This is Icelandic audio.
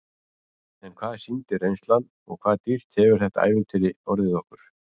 En hvað sýndi reynslan og hvað dýrt hefur þetta ævintýri orðið okkur?